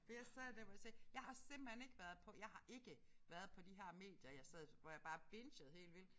For jeg sad der hvor jeg tænkte jeg har simpelthen ikke været på jeg har ikke været på de her medier jeg sad hvor jeg bare bingede helt vildt